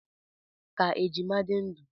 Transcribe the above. Ka ejima di ndu!